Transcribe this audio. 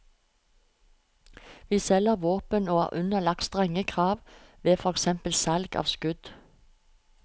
Vi selger våpen og er underlagt strenge krav ved for eksempel salg av skudd.